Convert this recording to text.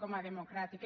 com a democràtic